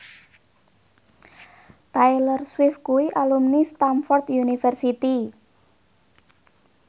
Taylor Swift kuwi alumni Stamford University